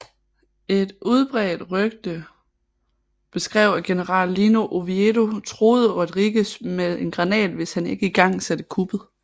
Et udbredte rygte beskrev at general Lino Oviedo truede Rodríguez med en granat hvis han ikke igangsatte kuppet